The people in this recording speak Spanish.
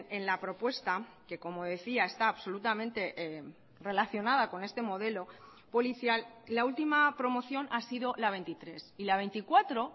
en la propuesta que como decía está absolutamente relacionada con este modelo policial la última promoción ha sido la veintitrés y la veinticuatro